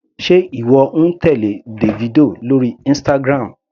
Sé ìwọ ń tèlé Davido lórí Instagram.